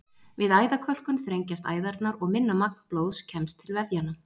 Við æðakölkun þrengjast æðarnar og minna magn blóðs kemst til vefjanna.